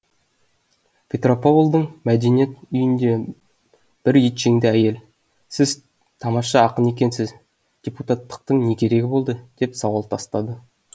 петропавлдың мәдениет үйінде бір етжеңді әйел сіз тамаша ақын екенсіз депутаттықтың не керегі болды деп сауал тастады